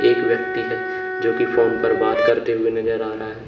एक व्यक्ति है जो कि फोन पर बात करते हुए नजर आ रहा है।